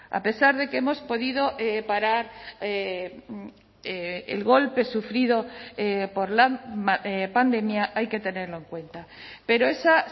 a pesar de que hemos podido parar el golpe sufrido por la pandemia hay que tenerlo en cuenta pero esa